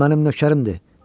Bu mənim nökərimdir.